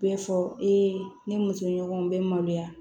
Bɛɛ fɔ ee ni muso ɲɔgɔn bɛ maloya